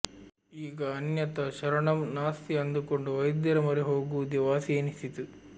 ಈಗ ಅನ್ಯಥಾ ಶರಣಮ್ ನಾಸ್ತಿ ಅಂದುಕೊಂಡು ವೈದ್ಯರ ಮೊರೆ ಹೋಗುವುದೇ ವಾಸಿಯೆನಿಸಿತು